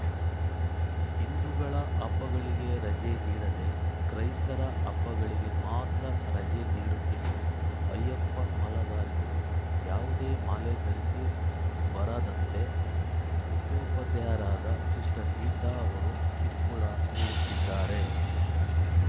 ಹಿಂದೂಗಳ ಹಬ್ಬಗಳಿಗೆ ರಜೆ ನೀಡದೆ ಕ್ರೈಸ್ತರ ಹಬ್ಬಗಳಿಗೆ ಮಾತ್ರ ರಜೆ ನೀಡುತ್ತಿದ್ದು ಅಯ್ಯಪ್ಪ ಮಾಲಾಧಾರಿಗಳು ಯಾವುದೇ ಮಾಲೆ ಧರಿಸಿ ಬರದಂತೆ ಮುಖ್ಯೋಪಾಧ್ಯಾಯರಾದ ಸಿಸ್ಟರ್‌ ಗೀತಾ ಅವರು ಕಿರಕುಳ ನೀಡುತ್ತಿದ್ದಾರೆ